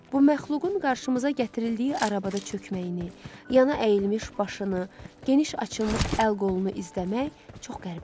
Bu məxluqun qarşımıza gətirildiyi arabada çökməyini, yana əyilmiş başını, geniş açılmış əl-qolunu izləmək çox qəribə idi.